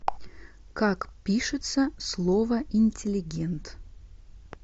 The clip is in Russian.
как пишется слово интеллигент